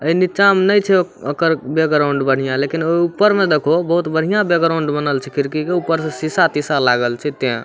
ए नीचा मे ने छै ओ ओकर बैकग्राउंड बढ़िया लेकिन ओय ऊपर मे देखहो बहुत बढ़िया बैकग्राउंड छै बनल छै खिड़की के ऊपर से शीशा तीसा लागल छै ते।